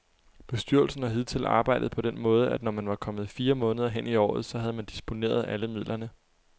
Bestyrelsen har hidtil arbejdet på den måde, at når man var kommet fire måneder hen i året, så havde man disponeret alle midlerne.